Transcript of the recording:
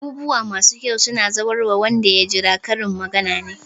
"Abubuwa masu kyau suna zuwarwa wanda ya jira" Karin magana ne.